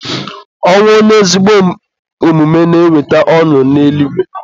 Ọnwụ onye ezigbo omume na-eweta ọṅụ n'eluigwe.